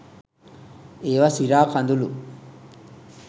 ඒවා සිරා කඳුළු.